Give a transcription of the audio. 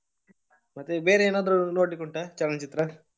ಮತ್ತೆ ಬೇರೆ ಏನಾದ್ರು ನೋಡ್ಲಿಕ್ ಉಂಟಾ ಚಲನಚಿತ್ರ?